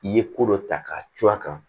I ye ko dɔ ta k'a cun a kan